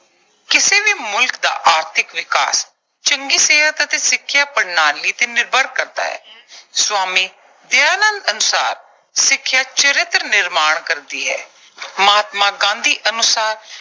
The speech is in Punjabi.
ਕਿਸੇ ਵੀ ਮੁਲਕ ਦਾ ਆਰਥਿਕ ਵਿਕਾਸ ਚੰਗੀ ਸਿਹਤ ਅਤੇ ਸਿੱਖਿਆ ਪ੍ਰਣਾਲੀ ਤੇ ਨਿਰਭਰ ਕਰਦਾ ਹੈ। ਸਵਾਮੀ ਦਯਾਨੰਦ ਅਨੁਸਾਰ ਸਿੱਖਿਆ ਚਰਿੱਤਰ ਨਿਰਮਾਣ ਕਰਦੀ ਹੈ। ਮਹਾਤਮਾ ਗਾਂਧੀ ਅਨੁਸਾਰ